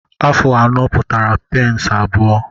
Afụ anọ pụtara peensị abụọ.